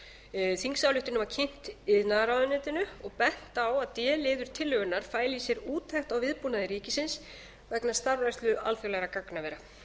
þingsályktunin var kynnt iðnaðarráðuneytinu og bent á að d liður tillögunnar fæli í sér úttekt á viðbúnaði ríkisins vegna starfrækslu alþjóðlegra gagnavera